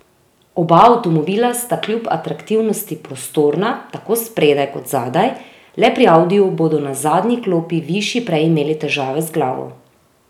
Oba avtomobila sta kljub atraktivnosti prostorna, tako spredaj kot zadaj, le pri audiju bodo na zadnji klopi višji prej imeli težave z glavo.